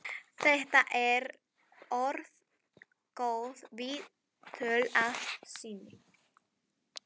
Þetta er orðin góð viðdvöl að sinni.